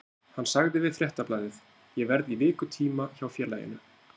Hann sagði við Fréttablaðið: Ég verð í vikutíma hjá félaginu.